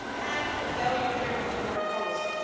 and to have a value driven foreign policy.